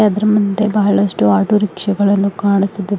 ಮುಂದೆ ಬಹಳಷ್ಟು ಆಟೋರಿಕ್ಷಾ ಗಳನ್ನು ಕಾಣಿಸುತ್ತಿದೆ.